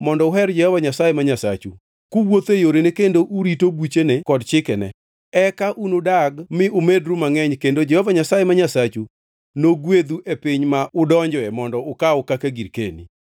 mondo uher Jehova Nyasaye ma Nyasachu, kuwuotho e yorene kendo urito buchene kod chikene, eka unudag mi umedru mangʼeny kendo Jehova Nyasaye ma Nyasachu nogwedhu e piny ma udonjoe mondo ukaw kaka girkeni.